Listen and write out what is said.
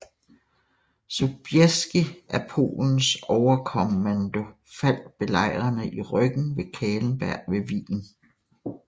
Sobieski af Polens overkommando faldt belejrene i ryggen fra Kahlenberg ved Wien